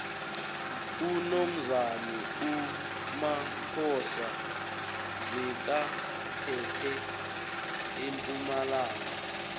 unomzane umaphosa bekaphethe empumalanga